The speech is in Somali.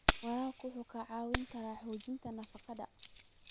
Waraabka wuxuu caawiyaa hagaajinta nafaqada.